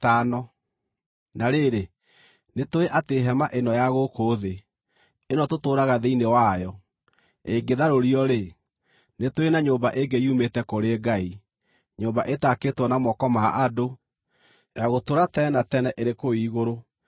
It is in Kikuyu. Na rĩrĩ, nĩtũũĩ atĩ hema ĩno ya gũkũ thĩ, ĩno tũtũũraga thĩinĩ wayo, ĩngĩtharũrio-rĩ, nĩ tũrĩ na nyũmba ĩngĩ yumĩte kũrĩ Ngai, nyũmba ĩtaakĩtwo na moko ma andũ, ya gũtũũra tene na tene ĩrĩ kũu igũrũ.